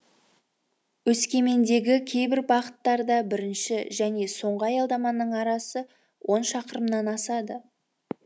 өскемендегі кейбір бағыттарда бірінші және соңғы аялдаманың арасы он шақырымнан асады